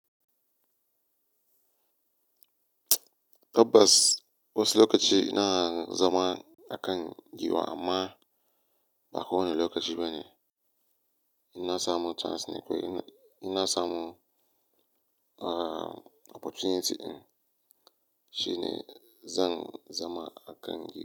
Tabbas wasu lokaci ina zama a kan giwa amma ba kowane lokaci bane. Ina samu chance ne kawai ina samu opportunity in shine zan zama a kan giwa.